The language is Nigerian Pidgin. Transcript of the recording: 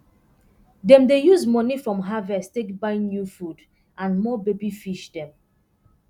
dem dey use moni from harvest take buy new food and more baby fish dem